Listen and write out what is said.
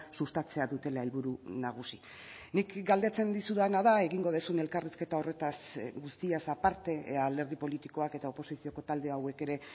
sustatzea dutela helburu nagusi nik galdetzen dizudana da egingo duzun elkarrizketa horretaz guztiaz aparte ea alderdi politikoak eta oposizioko talde hauek ere